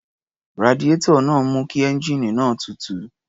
Radiárọ̀ náà ń mú kí ẹ́ńjíìnì náà tutù.